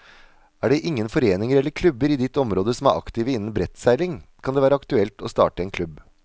Er det ingen foreninger eller klubber i ditt område som er aktive innen brettseiling, kan det være aktuelt å starte en klubb.